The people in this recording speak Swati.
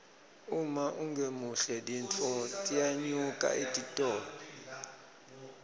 uma ungemuhle tintfo tiyanyuka etitolo